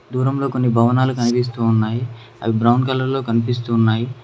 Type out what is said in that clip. దూరంలో కొన్ని భవనాలు కనిపిస్తూ ఉన్నాయి అవి బ్రౌన్ కలర్ లో కనిపిస్తూ ఉన్నాయి.